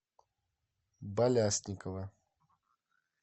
балясникова